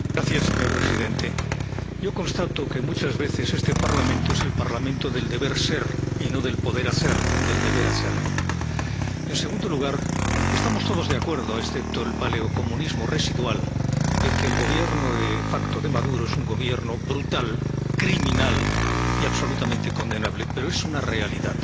Señor presidente, yo constato que muchas veces este Parlamento es el Parlamento del deber ser, y no del poder hacer, del deber hacer. En segundo lugar, estamos todos de acuerdo, excepto el paleocomunismo residual, en que el Gobierno de facto de Maduro es un Gobierno brutal, criminal y absolutamente condenable, pero es una realidad.